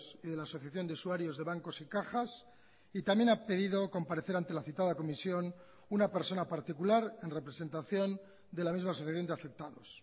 y de la asociación de usuarios de bancos y cajas y también ha pedido comparecer ante la citada comisión una persona particular en representación de la misma asociación de afectados